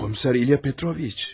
Komiser İlya Petroviç.